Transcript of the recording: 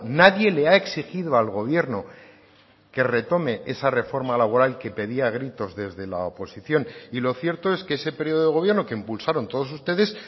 nadie le ha exigido al gobierno que retome esa reforma laboral que pedía a gritos desde la oposición y lo cierto es que ese periodo de gobierno que impulsaron todos ustedes